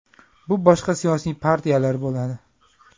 Bu boshqa siyosiy partiyalar bo‘ladi.